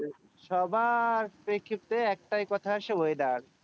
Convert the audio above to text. সবার প্রেক্ষিতে একটাই কথা আসে weather ।